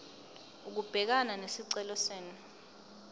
ukubhekana nesicelo senu